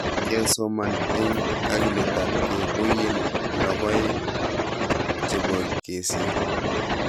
Kesoman eng kakiletapkei koiyei logoek che bo kesir